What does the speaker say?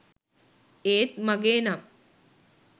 ඒත් මගේ නම්